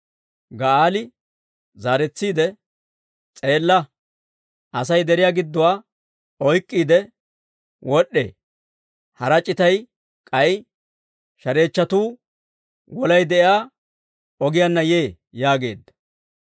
Ga'aali zaaretsiide, «S'eella! Asay deriyaw gidduwaa oyk'k'iide wod'd'ee; hara c'itay k'ay Shareechchatuu Wolay de'iyaa ogiyaanna yee» yaageedda.